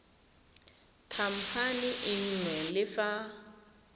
khamphane e nngwe le fa